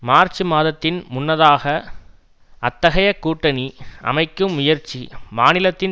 March மாதத்தின் முன்னதாக அத்தகைய கூட்டணி அமைக்கும் முயற்சி மாநிலத்தின்